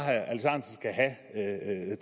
at